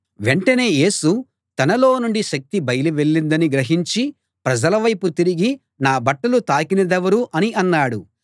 వెంటనే యేసు తనలో నుండి శక్తి బయలువెళ్ళిందని గ్రహించి ప్రజలవైపు తిరిగి నా బట్టలు తాకినదెవరు అని అన్నాడు